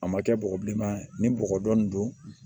A ma kɛ bɔgɔ bilenma ye ni bɔgɔ dɔni don